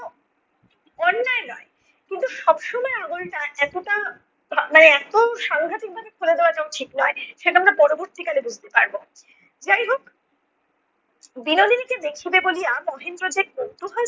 অন্যায় নয় কিন্তু সব সময়ে আগলটা এতটা, মানে এত সাংঘাতিকভাবে খুলে দেওয়াটাও ঠিক নয়, সেটা আমরা পরবর্তীকালে বুঝতে পারব। যাই হোক বিনোদিনীকে দেখিবে বলিয়া মহেন্দ্র যে কৌতূহল